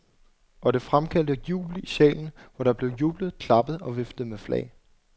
Og det fremkaldte jubel i salen, hvor der blev jublet, klappet og viftet med flag.